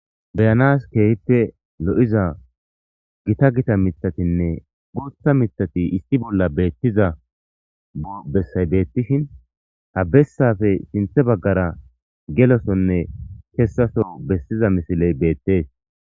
beyanas keehippe lo7iza gita gita mitatinne guutha mithati isti bolla beettiza bessay beettishin ha bessafe sinthe baggara gelosonne kessaso bessiza misiley beettees